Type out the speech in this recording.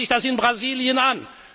an! Schauen Sie sich das in Brasilien